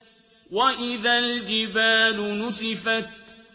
وَإِذَا الْجِبَالُ نُسِفَتْ